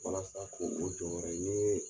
Walasa ko o jɔyɔrɔ ye